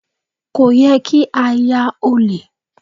Kò yẹ kí á ya ọ̀lẹ.